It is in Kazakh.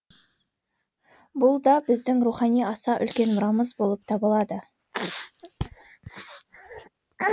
бұл да біздің рухани аса үлкен мұрамыз болып табылады